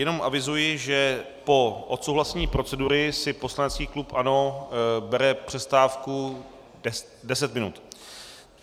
Jenom avizuji, že po odsouhlasení procedury si poslanecký klub ANO bere přestávku 10 minut.